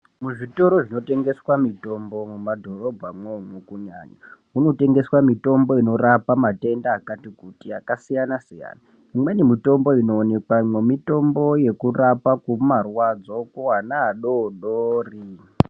Muzvitoro zvinotengeswe mitombo mumadhorobha mwo kunyañya munotengeswa mutombo inorapa matenda akati kuti akasiyana siyana imweni mutombo inoonekwamwo mitombo yekurapa marwadzo kuana adodori.